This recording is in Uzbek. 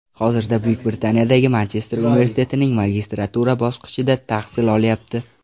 Hozirda Buyuk Britaniyadagi Manchester universitetining magistratura bosqichida tahsil olyapti.